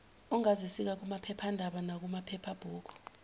ongazisika kumaphephanda nakumaphephabhuku